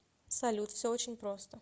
салют все очень просто